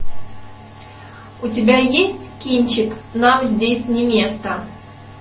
у тебя есть кинчик нам здесь не место